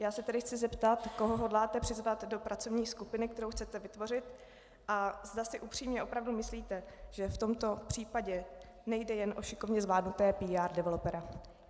Já se tedy chci zeptat, koho hodláte přizvat do pracovní skupiny, kterou chcete vytvořit, a zda si upřímně opravdu myslíte, že v tomto případě nejde jen o šikovně zvládnuté PR developera.